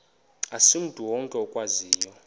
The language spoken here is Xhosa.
asimntu wonke okwaziyo